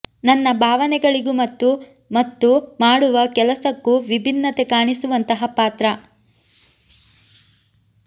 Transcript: ನನ್ನ ಭಾವನೆಗಳಿಗೂ ಮತ್ತು ಮತ್ತು ಮಾಡುವ ಕೆಲಸಕ್ಕೂ ವಿಭಿನ್ನತೆ ಕಾಣಿಸುವಂತಹ ಪಾತ್ರ